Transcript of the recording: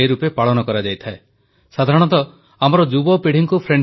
• କ୍ଷେତ୍ରୀୟ ଭାଷାର ସୁରକ୍ଷା ପ୍ଲାଷ୍ଟିକ ମୁକ୍ତି ପାଇଁ ଦେଶବାସୀ ଆଗେଇ ଆସନ୍ତୁ ପ୍ରଧାନମନ୍ତ୍ରୀ